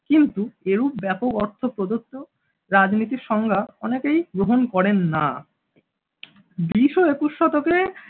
কিন্তু এরূপ ব্যাপক অর্থ প্রদত্ত রাজনীতির সংজ্ঞা অনেকেই গ্রহণ করেন না। বিশ ও একুশ শতকে